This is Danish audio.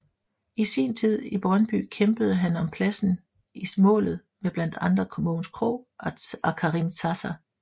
I sint tid i Brøndby kæmpede han om pladsen i målet med blandt andre Mogens Krogh og Karim Zaza